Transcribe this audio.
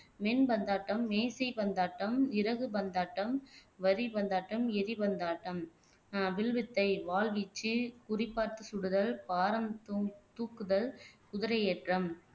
மின்பந்தாட்டம் மேசை பந்தாட்டம் இறகு பந்தாட்டம் வரிபந்தாட்டம் எரிபந்தாட்டம் ஆஹ் வில் வித்தை வாள்வீச்சு குறிபார்த்து சுடுதல் பாரம் தூங் தூக்குதல் குதிரையேற்றம்